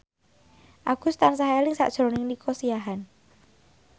Agus tansah eling sakjroning Nico Siahaan